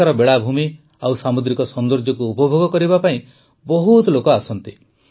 ସେଠାକାର ବେଳାଭୂମି ଓ ସାମୁଦ୍ରିକ ସୌନ୍ଦର୍ଯ୍ୟକୁ ଉପଭୋଗ କରିବା ପାଇଁ ବହୁତ ଲୋକ ଆସନ୍ତି